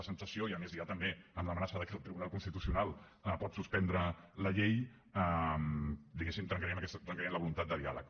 la sensació i a més ja també amb l’amenaça de que el tribunal constitucional pot suspendre la llei diguéssim trencarien la voluntat de diàleg